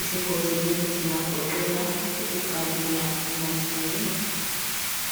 izingozi lezi zingagoqela ukugalula emanzini.